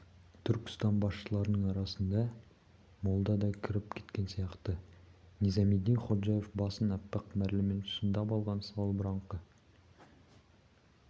түркістан басшыларының арасына молда да кіріп кеткен сияқты низамеддин ходжаев басын аппақ мәрлімен шандып алған салбыраңқы